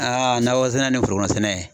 Aa nakɔsɛnɛ ni forokɔnɔsɛnɛ